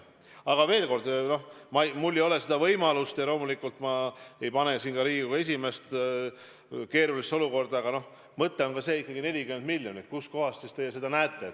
Aga veel kord, mul ei ole seda võimalust ja loomulikult ma ei pane siin ka Riigikogu esimeest keerulisse olukorda, aga mõte on ikkagi ka see, et 40 miljonit – kust kohast siis teie arvates see tuleb võtta.